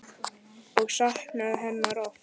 Og saknaði hennar oft.